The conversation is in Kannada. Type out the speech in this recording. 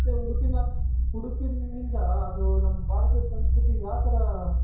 ಉಡುಪಿನ ಉಡುಪಿನಿಂದ ಅದು ನಮ್ಮ ಭಾರತೀಯ ಸಂಸ್ಕೃತಿ ಯಾ ತರ